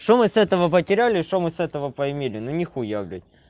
что мы с этого потеряли что мы с этого поимели ну нехуя блядь